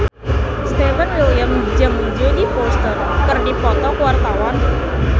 Stefan William jeung Jodie Foster keur dipoto ku wartawan